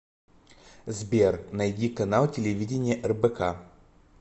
сбер найди канал телевидения рбк